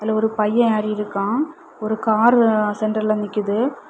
ஒரு பைய அல்லிருக்கா ஒரு காரு சென்டர்ல நிக்குது.